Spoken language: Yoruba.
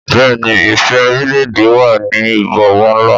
Bẹ́ẹ̀ni, ìfẹ́ orílẹ̀-èdè wà ní ìbọ̀wọ̀ ńlá.